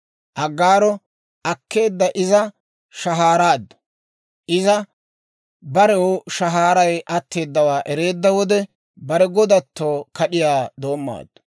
Aggaaro akkeedda; iza shahaaraaddu. Iza barew shahaaray atteedawaa ereedda wode, bare godatto kad'iyaa doommaaddu.